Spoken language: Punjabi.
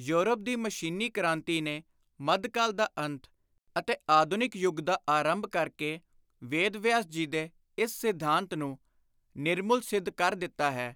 ਯੋਰਪ ਦੀ ਮਸ਼ੀਨੀ ਕ੍ਰਾਂਤੀ ਨੇ ਮੱਧਕਾਲ ਦਾ ਅੰਤ ਅਤੇ ਆਧੁਨਿਕ ਯੁਗ ਦਾ ਆਰੰਭ ਕਰ ਕੇ ਵੇਦ ਵਿਆਸ ਜੀ ਦੇ ਇਸ ਸ਼ਿਧਾਂਤ ਨੂੰ ਨਿਰਮੁਲ ਸਿੱਧ ਕਰ ਦਿੱਤਾ ਹੈ